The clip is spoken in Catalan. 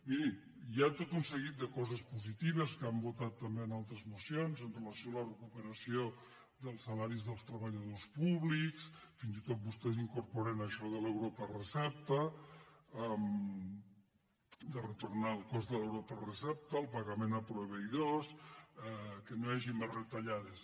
miri hi ha tot un seguit de coses positives que han vo·tat també en altres mocions amb relació a la recupera·ció dels salaris dels treballadors públics fins i tot vos·tès hi incorporen això de l’euro per recepta de retornar el cost de l’euro per recepta el pagament a proveïdors que no hi hagi més retallades